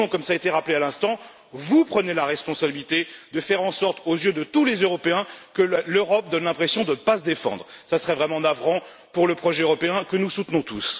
Sinon, comme cela a été rappelé à l'instant, vous prenez la responsabilité de faire en sorte, aux yeux de tous les Européens, que l'Europe donne l'impression de ne pas se défendre. Ce serait vraiment navrant pour le projet européen que nous soutenons tous.